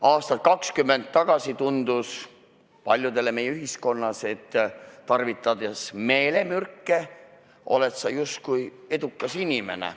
Aastat 20 tagasi tundus paljudele meie ühiskonnas, et tarvitades meelemürke oled sa justkui edukas inimene.